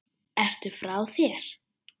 Ertu frá þér!?